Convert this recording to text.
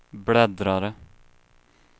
bläddrare